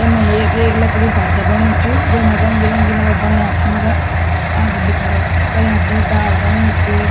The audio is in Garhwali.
यम्मा एक एक लकड़ी ढांचा बण्यु च वेमा रंग बिरंगी मतलब वू बणाया छी वूंका आदिम भी खड़ा कर्यां छिं डाल बण्यु च।